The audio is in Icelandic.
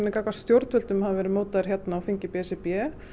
gagnvart stjórnvöldum hafi verið mótaður á þingi b s r b